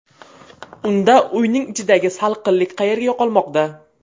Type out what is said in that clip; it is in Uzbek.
Unda uyning ichidagi salqinlik qayerga yo‘qolmoqda?